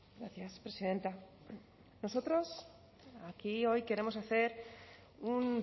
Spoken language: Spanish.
gracias presidenta nosotros aquí hoy queremos hacer un